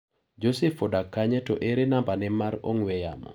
Joseph odak kanye to ere nambane mar ong'ue yamo.